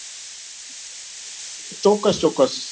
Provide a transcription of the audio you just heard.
ચોક્કસ ચોક્કસ